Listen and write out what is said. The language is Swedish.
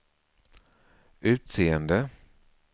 utseende